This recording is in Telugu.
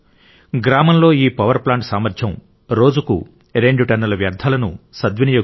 గ్రామంలో ఈ పవర్ ప్లాంట్ సామర్థ్యం రోజుకు రెండు టన్నుల వ్యర్థాలను పారవేయడం